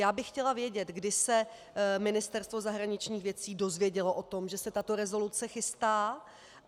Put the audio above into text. Já bych chtěla vědět, kdy se Ministerstvo zahraničních věcí dozvědělo o tom, že se tato rezoluce chystá.